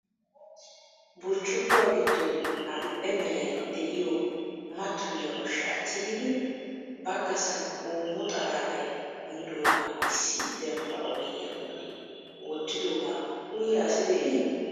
Burccukuwaa giddon addil"e meray de'iyo mattoyiyaa ushsha tigidi baggaasan hoommo xalaalay kummidooga issi dembba oyddiyaa bolli wottidooga uyyiya asi de'ii?